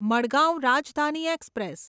Madgaon Rajdhani express